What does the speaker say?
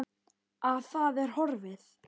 Að það er horfið!